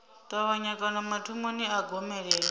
ṱavhanya kana mathomoni a gomelelo